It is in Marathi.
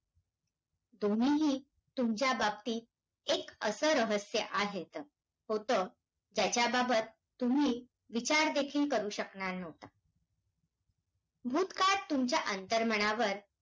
इतके नव्हे तर कोकण आणि पश्चिम महाराष्ट्रातला मोठा परिसर विकासाच्या